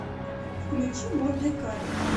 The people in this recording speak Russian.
включи мордекай